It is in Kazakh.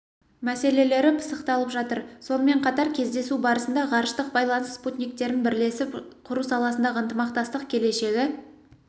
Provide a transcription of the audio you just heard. мәселелері пысықталып жатыр сонымен қатар кездесу барысында ғарыштық байланыс спутниктерін бірлесіп құру саласындағы ынтымақтастық келешегі